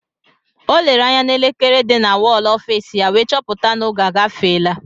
O lere anya n'elekere di na wọl ọfiisi ya wee chọpụta na oge agafeela